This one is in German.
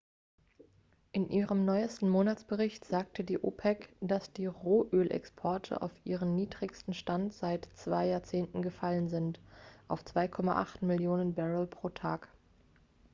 in ihrem neuesten monatsbericht sagte die opec dass die rohölexporte auf ihren niedrigsten stand seit zwei jahrzehnten gefallen sind auf 2,8 millionen barrel pro tag